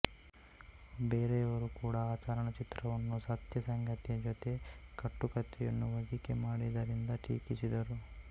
ಬೇರೆಯವರು ಕೂಡ ಅ ಚಲನಚಿತ್ರವನ್ನು ಸತ್ಯಸಂಗತಿಯ ಜೊತೆ ಕಟ್ಟುಕತೆಯನ್ನು ಒಂದಿಕೆ ಮಾಡಿದರಿಂದ ಟೀಕಿಸಿದರು